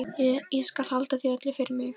Ég skal halda því öllu fyrir mig.